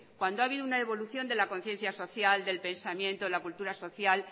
cuando ha habido una evolución de la conciencia social del pensamiento en la cultura social